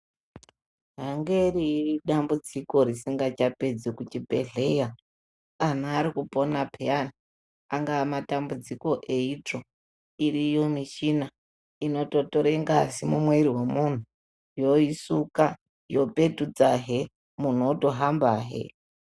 Angeri dambudziko risingachapedzeki kuchibhedhlera anhu arikupona peyani anga madambudziko eitsvo iriyo michina inototora ngazi mumwiri wemunhu yoisuka yopetudzahe munhu otohambahe.